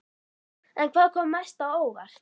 En hvað kom mest á óvart?